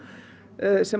sem